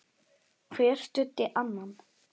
Hver studdi annan.